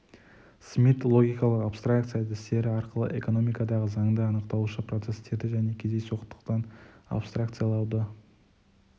смит логикалық абстракция әдістері арқылы экономикадағы заңды анықтаушы процестерді және кездейсоқтықтан абстаркциялауды